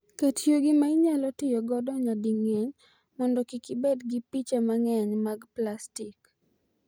Ket yugi ma inyalo ti godo nyading'eny mondo kik ibed gi piche mang'eny mag plastik.